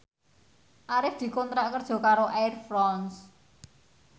Arif dikontrak kerja karo Air France